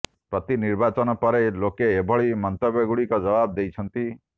ପ୍ରତି ନିର୍ବାଚନ ପରେ ଲୋକେ ଏଭଳି ମନ୍ତବ୍ୟଗୁଡ଼ିକର ଜବାବ ଦେଇଛନ୍ତି